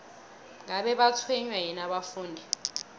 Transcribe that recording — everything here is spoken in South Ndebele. ngabe batshwenywa yini abafundi